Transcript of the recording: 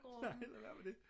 Nej lad være med det